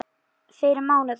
Fyrir mánudag?